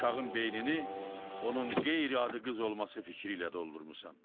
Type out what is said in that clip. Uşağın beynini onun qeyri-adı qız olması fikri ilə doldurmursan.